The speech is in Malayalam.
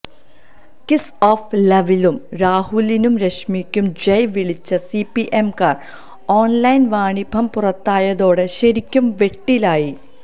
കിസ് ഓഫ് ലവിലും രാഹുലിനും രശ്മിക്കും ജയ് വിളിച്ച സിപിഎംകാര് ഓണ്ലൈന് വാണിഭം പുറത്തായതോടെ ശരിക്കും വെട്ടിലായി